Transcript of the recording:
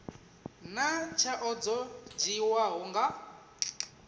naa tsheo dzo dzhiiwaho nga